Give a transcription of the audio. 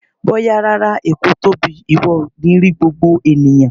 Bóyá rárá, Èkó tóbi, ìwọ ò ní rí gbogbo ènìyàn.